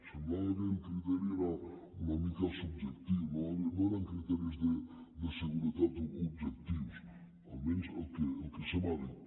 semblava que el criteri era una mica subjectiu no eren criteris de seguretat objectius almenys el que se m’ha dit